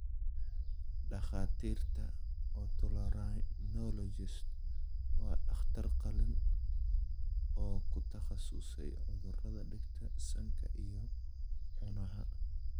Dhakhaatiirta otolaryngologist waa dhakhtar qalliin oo ku takhasusay cudurrada dhegta, sanka, iyo cunaha.